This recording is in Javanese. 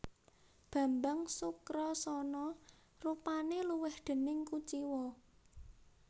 Bambang Sukrasana rupane luwih déning kuciwa